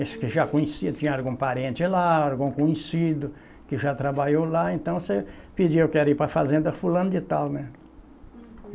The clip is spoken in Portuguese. Aqueles que já conhecia, tinha algum parente lá, algum conhecido que já trabalhou lá, então você pedia, eu quero ir para a fazenda fulano de tal, né?